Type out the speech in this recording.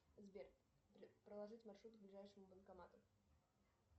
сбер проложить маршрут к ближайшему банкомату